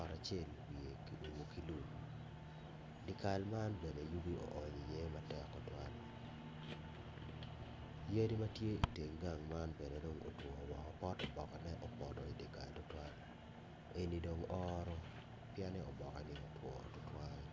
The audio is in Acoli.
ot acel wiye ki umo ki lum dikal man bene yugi oony i ye matek tutuwal yadi matye i teng gang man bene dong otwo woko pot obokone opoto idikal tutwal eni dong ooro pien ni oboke ne otwo tutwal.